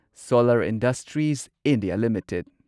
solar industries India limited